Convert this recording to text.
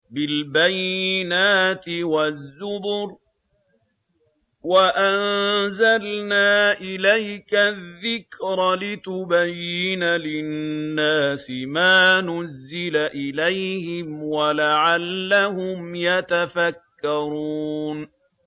بِالْبَيِّنَاتِ وَالزُّبُرِ ۗ وَأَنزَلْنَا إِلَيْكَ الذِّكْرَ لِتُبَيِّنَ لِلنَّاسِ مَا نُزِّلَ إِلَيْهِمْ وَلَعَلَّهُمْ يَتَفَكَّرُونَ